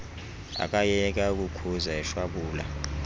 akayeka ukukhuza eshwabula